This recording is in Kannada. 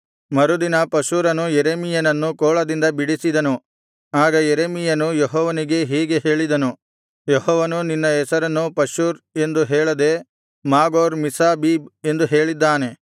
ಮರುದಿನ ಪಷ್ಹೂರನು ಯೆರೆಮೀಯನನ್ನು ಕೋಳದಿಂದ ಬಿಡಿಸಿದನು ಆಗ ಯೆರೆಮೀಯನು ಅವನಿಗೆ ಹೀಗೆ ಹೇಳಿದನು ಯೆಹೋವನು ನಿನ್ನ ಹೆಸರನ್ನು ಪಷ್ಹೂರ್ ಎಂದು ಹೇಳದೆ ಮಾಗೋರ್ ಮಿಸ್ಸಾಬೀಬ್ ಎಂದು ಹೇಳಿದ್ದಾನೆ